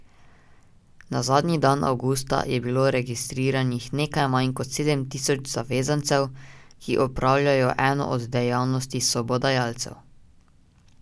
Na zadnji dan avgusta je bilo registriranih nekaj manj kot sedem tisoč zavezancev, ki opravljalo eno od dejavnosti sobodajalcev.